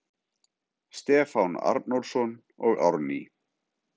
Stefán Arnórsson og Árný